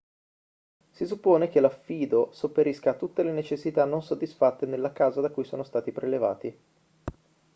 si suppone che l'affido sopperisca a tutte le necessità non soddisfatte nella casa da cui sono stati prelevati